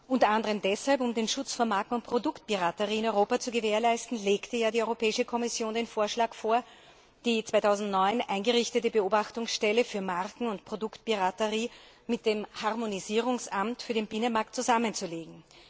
Unter anderem um den Schutz von Marken und Produktpiraterie in Europa zu gewährleisten, legte die Europäische Kommission ja den Vorschlag vor, die 2009 eingerichtete Beobachtungsstelle für Marken und Produktpiraterie mit dem Harmonisierungsamt für den Binnenmarkt zusammenzulegen.